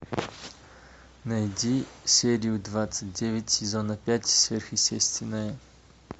найди серию двадцать девять сезона пять сверхъестественное